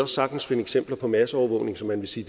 sagtens finde eksempler på masseovervågning som man vil sige